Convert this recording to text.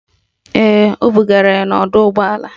Ee, o bugara ya n'ọdọụgbọala.